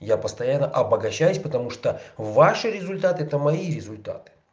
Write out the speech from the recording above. я постоянно обогащаюсь потому что ваши результаты это мои результаты